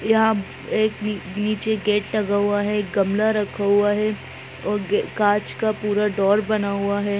यह एक नी-नीचे गेट लगा हुआ है एक गमला रखा हुआ है और ग कांच का पूरा डोर बना हुआ है।